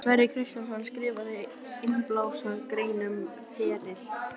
Sverrir Kristjánsson skrifaði innblásna grein um feril